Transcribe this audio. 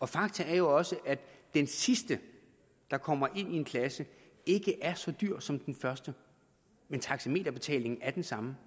fakta er jo også at den sidste der kommer ind i en klasse ikke er så dyr som den første men taxameterbetalingen er den samme